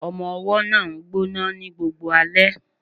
Ọmọ-ọwọ́ náà ń gbọ́ná ní gbogbo alẹ́